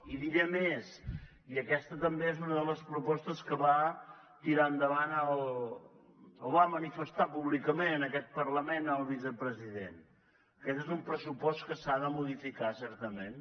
i diré més i aquesta també és una de les propostes que va tirar endavant o va manifestar públicament en aquest parlament el vicepresident aquest és un pressupost que s’ha de modificar certament